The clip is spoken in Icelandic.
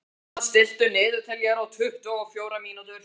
Emma, stilltu niðurteljara á tuttugu og fjórar mínútur.